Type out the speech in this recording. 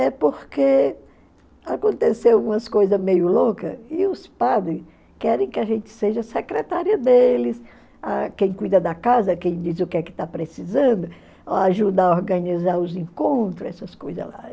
é porque aconteceu umas coisas meio louca e os padre querem que a gente seja secretária deles, a quem cuida da casa, quem diz o que é que está precisando, ajuda a organizar os encontros, essas coisas lá.